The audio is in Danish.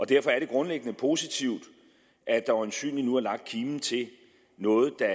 derfor er det grundlæggende positivt at der øjensynlig nu er lagt kimen til noget der